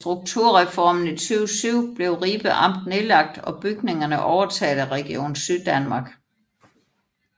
Ved Strukturreformen i 2007 blev Ribe Amt nedlagt og bygningerne overtaget af Region Syddanmark